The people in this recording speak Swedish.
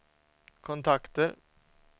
kontakter